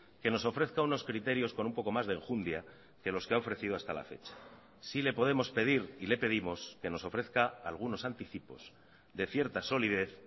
que nos ofrezca unos criterios con un poco más de enjundia que los que ha ofrecido hasta la fecha sí le podemos pedir y le pedimos que nos ofrezca algunos anticipos de cierta solidez